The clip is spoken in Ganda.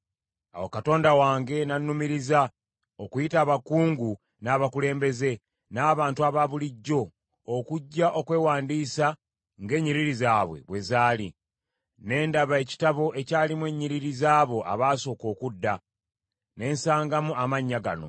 Awo Katonda wange nannumiriza, okuyita abakungu n’abakulembeze, n’abantu abaabulijjo okujja okwewandiisa ng’ennyiriri zaabwe bwe zaali. Ne ndaba ekitabo ekyalimu ennyiriri zaabo abaasooka okudda, ne nsangamu amannya gano: